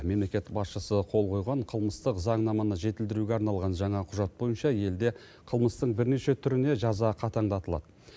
мемлекет басшысы қол қойған қылмыстық заңнаманы жетілдіруге арналған жаңа құжат бойынша елде қылмыстың бірнеше түріне жаза қатаңдатылады